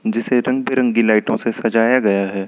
जिसे रंग बिरंगी लाइटों से सजाया गया है।